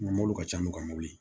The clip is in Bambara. mɔbiliw caman be ka mobili